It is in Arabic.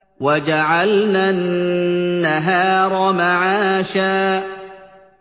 وَجَعَلْنَا النَّهَارَ مَعَاشًا